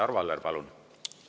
Arvo Aller, palun!